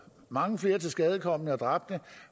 mange flere tilskadekomne og dræbte